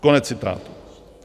Konec citátu.